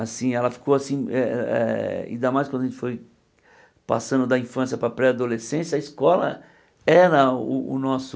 Assim, ela ficou assim, eh eh eh ainda mais quando a gente foi passando da infância para a pré-adolescência, a escola era o o nosso...